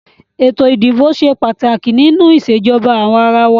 Ètò ìdìbò ṣe pàtàkì nínú ìṣèjọba àwàrawa.